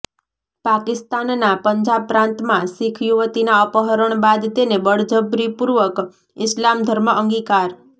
પાકિસ્તાનના પંજાબ પ્રાંતમાં શીખ યુવતીના અપહરણ બાદ તેને બળજબરીપૂર્વક ઈસ્લામ ધર્મ અંગિકાર